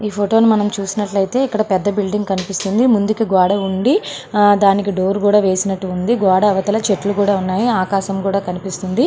ఈ ఫోటో ని మనం చూసినట్లయితే ఇక్కడ ఒక పెద్ద బిల్డింగ్ కనిపిస్తుంది. ముందుకి ఒక గోడ ఉంది . దానికి డోర్ కూడా వేసినట్టుగా ఉంది. గోడ అవతల చెట్లు కూడా ఉన్నాయి. ఆకాశం కూడా కనిపిస్తుంది.